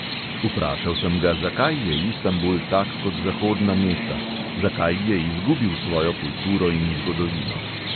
Vprašal sem ga, zakaj je istanbul tak kot zahodna mesta, zakaj je izgubil svojo kulturo in zgodovino.